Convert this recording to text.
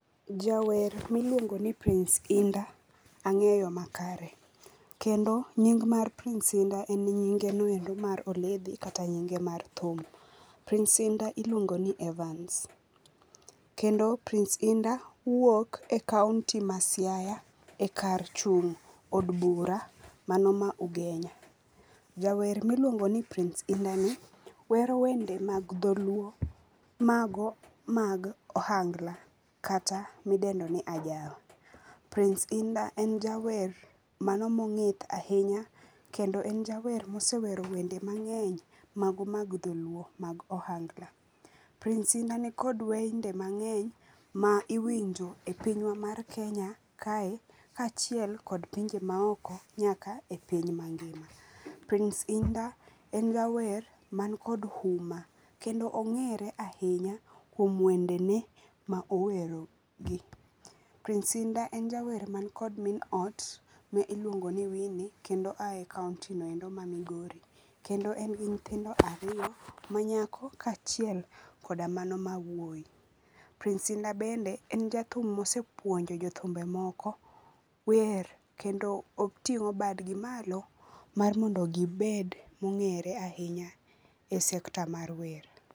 Jawer miluongo ni Prince Indah angeyo makare kendo nying mar Prince Indah en nyinge mar oledhi kata nyinge mar thum. Price Indah iluongo ni Evance. Kendo Prince indah wuok e kaunti ma Siaya ekar chung od bura mano ma Ugenya. Jawer miluongo ni Prince inddah wero wende mag dholuo mago mag ohangla kata midendo ni ajawa. Prince Indah en jawer mano mongith ahinya kendo en jawer mosewero wende mangeny mago mag dholuo mago mag ohangla. Pince indah nikod wende mangeny ma iwinjo e pinywa mar Kenya kae kachiel kod pinje maoko nyaka e piny mangima. Prince Indah en jawer man kod huma kendo ongere ahinya kuom wendene ma owero gi. Prince indah en jawer man kod min ot miluongo ni Winnie kendo aye kaunti no endo ma Migori, kendo en gi nyithindo ariyo ma nyako kachiel koda mano ma wuoy. Prince indah bende en jathum mosepuonjo jothumbe moko wer kendo otingo badgi malo mondo gingere ahinya e sekta mar wer